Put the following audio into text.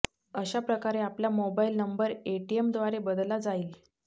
अशा प्रकारे आपला मोबाइल नंबर एटीएमद्वारे बदलला जाईल